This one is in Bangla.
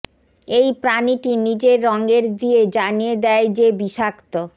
এই প্রাণীটি নিজের রঙের দিয়ে জানিয়ে দেয় যে বিষাক্ত